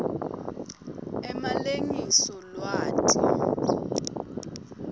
emalengiso lwati